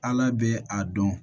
Ala bɛ a dɔn